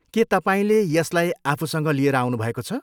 के तपाईँले यसलाई आफूसँग लिएर आउनुभएको छ?